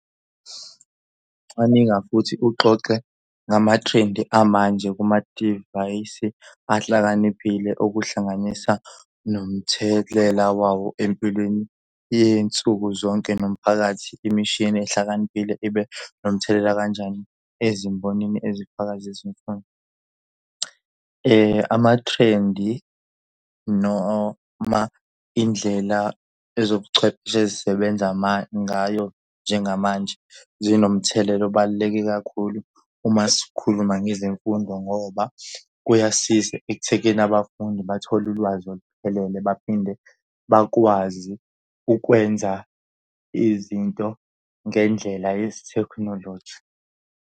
Cwaninga futhi uxoxe ngamathrendi amanje kumadivayisi ahlakaniphile okuhlanganisa nomthelela wawo empilweni yensuku zonke nomphakathi. Imishini ehlakaniphile ibe nomthelela kanjani ezimbonini ezifaka zezemfundo? Amathrendi noma indlela ezobuchwepheshe ezisebenza ngayo njengamanje zinomthelela obaluleke kakhulu uma sikhuluma ngezemfundo ngoba kuyasiza ekuthekeni abafundi bathole ulwazi oluphelele baphinde bakwazi ukwenza izinto ngendlela yesithekhinoloji.